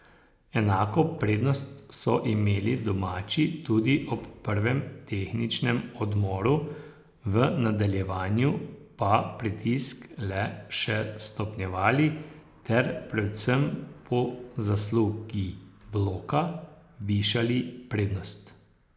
Enako prednost so imeli domači tudi ob prvem tehničnem odmoru, v nadaljevanju pa pritisk le še stopnjevali ter predvsem po zaslugi bloka višali prednost.